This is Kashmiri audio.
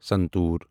سنتور